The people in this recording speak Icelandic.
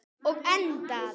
Og endað.